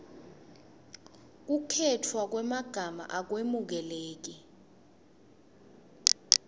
kukhetfwa kwemagama akwemukeleki